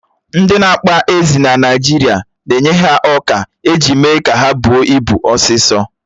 Ndị na-akpa ezi na Naijiria na-enye ha ọkà eji méé ka ha bụó ị́bu osisọ̀